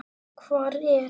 Hvar er